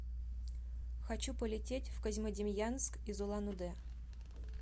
хочу полететь в козьмодемьянск из улан удэ